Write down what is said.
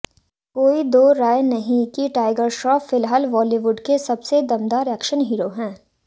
कोई दो राय नहीं कि टाइगर श्राफ फिलहाल बॉलीवुड के सबसे दमदार एक्शन हीरो हैं